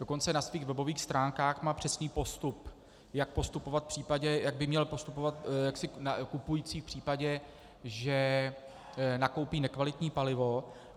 Dokonce na svých webových stránkách má přesný postup, jak by měl postupovat kupující v případě, že nakoupí nekvalitní palivo.